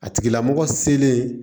A tigilamɔgɔ selen